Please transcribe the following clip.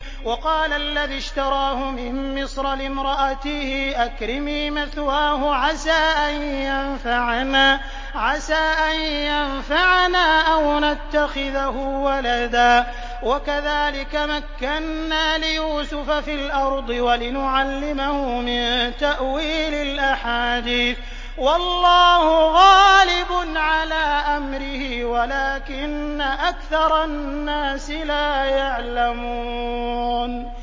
وَقَالَ الَّذِي اشْتَرَاهُ مِن مِّصْرَ لِامْرَأَتِهِ أَكْرِمِي مَثْوَاهُ عَسَىٰ أَن يَنفَعَنَا أَوْ نَتَّخِذَهُ وَلَدًا ۚ وَكَذَٰلِكَ مَكَّنَّا لِيُوسُفَ فِي الْأَرْضِ وَلِنُعَلِّمَهُ مِن تَأْوِيلِ الْأَحَادِيثِ ۚ وَاللَّهُ غَالِبٌ عَلَىٰ أَمْرِهِ وَلَٰكِنَّ أَكْثَرَ النَّاسِ لَا يَعْلَمُونَ